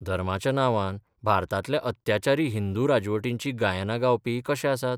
धर्माच्या नांवान भारतांतल्या अत्याचारी हिंदू राजवटींचीं गायनां गावपी कशे आसात?